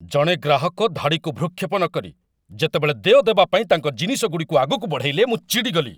ଜଣେ ଗ୍ରାହକ ଧାଡ଼ିକୁ ଭୃକ୍ଷେପ ନକରି ଯେତେବେଳେ ଦେୟ ଦେବା ପାଇଁ ତାଙ୍କ ଜିନିଷଗୁଡ଼ିକୁ ଆଗକୁ ବଢ଼େଇଲେ, ମୁଁ ଚିଡ଼ିଗଲି।